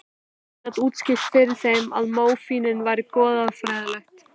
Baróninn gat útskýrt fyrir þeim að mótífin væru goðfræðileg.